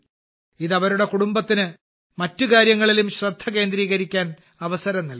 ഇത് അവരുടെ കുടുംബത്തിന് മറ്റ് കാര്യങ്ങളിലും ശ്രദ്ധ കേന്ദ്രീകരിക്കാൻ അവസരം നൽകി